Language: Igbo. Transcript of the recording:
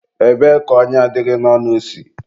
ebee ka ọnya dị gị n'ọnụ si?